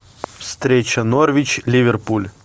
встреча норвич ливерпуль